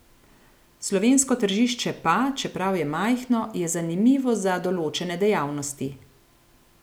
Slovensko tržišče pa, čeprav je majhno, je zanimivo za določene dejavnosti.